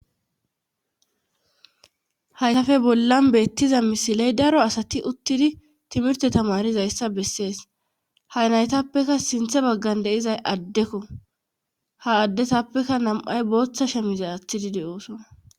haysafe bollan beettiza misiley daro asati uttidi timirte tamarizayssa bessees hay naytappekka sinthe baggan deizay addekko ha addesappekka nam7ay booththa shemize aththidi de7ooso